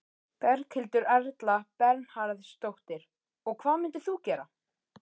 Berghildur Erla Bernharðsdóttir: Og hvað myndir þú gera?